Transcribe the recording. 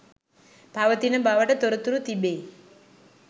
පවතින බවට තොරතුරු තිබේ